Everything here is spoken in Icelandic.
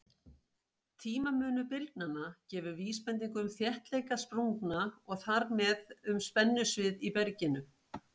Tímamunur bylgnanna gefur vísbendingu um þéttleika sprungna og þar með um spennusvið í berginu.